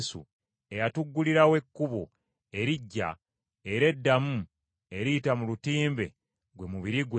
eyatuggulirawo ekkubo eriggya era eddamu eriyita mu lutimbe, gwe mubiri gwe,